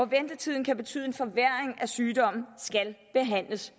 ventetiden kan betyde en forværring af sygdommen skal behandles